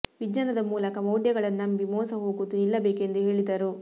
ವಿಜ್ಞಾನದ ಮೂಲಕ ಮೌಡ್ಯಗಳನ್ನು ನಂಬಿ ಮೋಸ ಹೋಗುವುದು ನಿಲ್ಲಬೇಕು ಎಂದು ಹೇಳಿದರು